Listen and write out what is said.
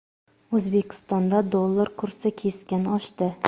O‘zbekistonda dollar kursi keskin oshdi.